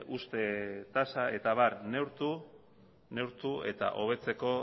uzte tasa eta abar neurtu eta hobetzeko